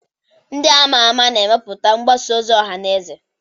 ndị a ma ama na-emetụta mgbasa ozi ọha na eze